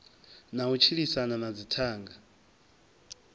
na u tshilisana na dzithanga